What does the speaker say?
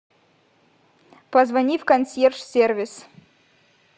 позвони в консьерж сервис